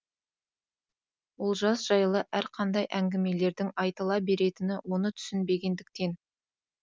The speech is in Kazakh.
олжас жайлы әрқандай әңгімелердің айтыла беретіні оны түсінбегендіктен